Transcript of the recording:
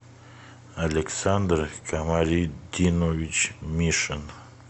александр камалетдинович мишин